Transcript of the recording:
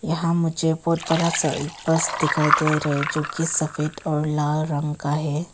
यहां मुझे बहुत बड़ा सा एक बस दिखाई दे रहे जो की सफेद और लाल रंग का है।